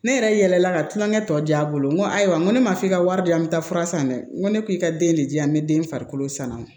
Ne yɛrɛ yɛlɛla ka tulonkɛ tɔ di a bolo n ko ayiwa n ko ne ma f'i ka wari di yan n bi taa fura san dɛ n ko ne ko i ka den ne di yan n be den farikolo sanuya